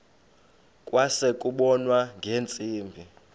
kwase kubonwa ngeentsimbi